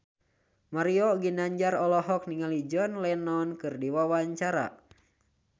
Mario Ginanjar olohok ningali John Lennon keur diwawancara